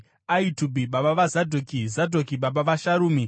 Ahitubhi baba vaZadhoki, Zadhoki baba vaSharumi,